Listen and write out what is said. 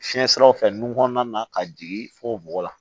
Fiɲɛ siraw fɛ nun kɔnɔna na ka jigin fo bɔgɔ la